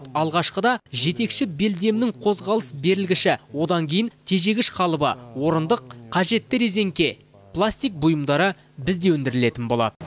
алғашқыда жетекші белдемнің қозғалыс берілгіші одан кейін тежегіш қалыбы орындық қажетті резеңке пластик бұйымдары бізде өндірілетін болады